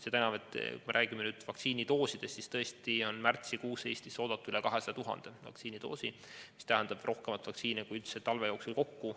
Seda enam, et kui me räägime vaktsiini kogusest, siis märtsikuus on Eestisse oodata üle 200 000 vaktsiinidoosi, seda on rohkem kui talve jooksul kokku.